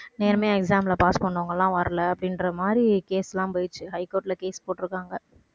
நேர்மையா exam ல pass பண்ணவங்க எல்லாம் வரல அப்படின்ற மாதிரி case எல்லாம் போயிருச்சு. high court ல case போட்டு இருக்காங்க